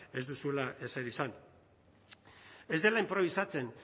ez duzula ezer izan ez dela inprobisatzen